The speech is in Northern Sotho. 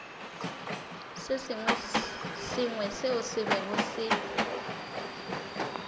sengwe seo se bego se